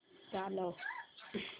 चालव